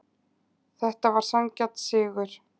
Þetta var sanngjarn sigur.